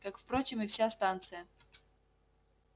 как впрочем и вся станция